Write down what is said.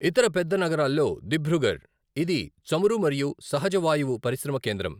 ఇతర పెద్ద నగరాల్లో దిబ్రూఘర్, ఇది చమురు మరియు సహజ వాయువు పరిశ్రమ కేంద్రం.